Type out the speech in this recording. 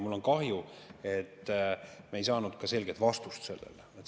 Mul on kahju, et me ei saanud sellele ka selget vastust.